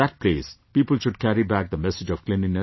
People should carry back the message of cleanliness with them